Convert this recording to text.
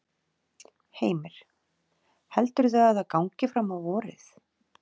Elísabet: Gafst upp, gafstu upp á hverju, kerfinu bara eða?